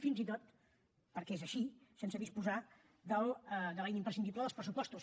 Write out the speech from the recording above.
fins i tot perquè és així sense disposar de l’eina imprescindible dels pressupostos